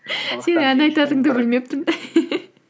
сенің ән айтатыныңды білмеппін